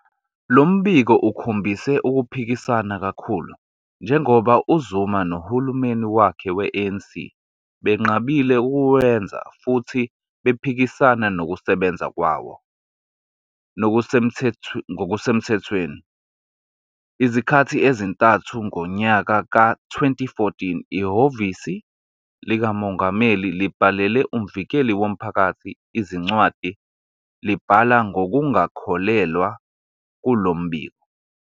Lo mbiko ukhombise ukuphikisana kakhulu, njengoba uZuma nohulumeni wakhe we- ANC benqabile ukuwenza futhi bephikisana nokusebenza kwawo ngokusemthethweni. Izikhathi ezintathu ngonyaka ka-2014, iHhovisi likaMongameli libhalele uMvikeli Womphakathi izincwadi libhala ngokungakholelwa kulo mbiko.